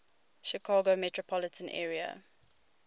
chicago metropolitan area